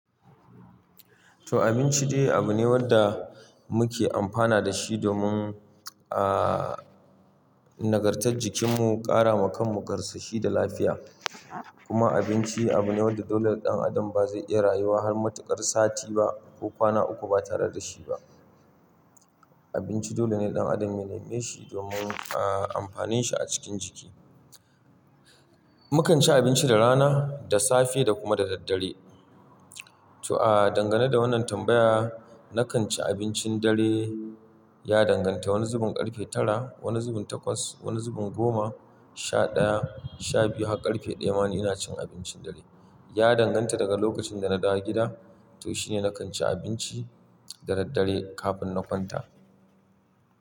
To abinci dai abu ne wanda muke amfana da shi domin, nagartar jikinmu, ƙara wa kanmu garsashi da lafiya. Kuma abinci abu ne wanda dole ɗan adam ba zai iya rayuwa har matuƙar sati ba ko kwana uku ba tare da shi ba. Abinci dole ne ɗan adam ya nemi shi domin, amfanin shi a cikin jiki. Mukan ci abinci da rana, da safe da kuma da daddare. To a dangane da wannan tambaya, na kan ci abincin dare, ya danganta wani zubin ƙarfe tara, wani zubin takwas, wani zubin goma, sha ɗaya, sha biyu har ƙarfe ɗaya ma ina cin abincin dare. Ya danganta daga lokacin da na dawo gida, to shi ne na kan ci abinci da daddare kafin na kwanta.